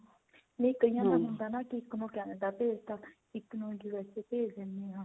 ਨਈ ਕਈਆਂ ਦਾ ਹੁੰਦਾ ਨਾ ਇੱਕ ਨੂੰ Canada ਭੇਜ ਤਾਂ ਇੱਕ ਨੂੰ USA ਭੇਜ ਦਿਨੇ ਆ